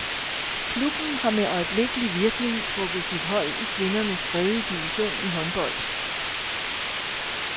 Klubben har med øjeblikkelig virkning trukket sit hold i kvindernes tredje division i håndbold.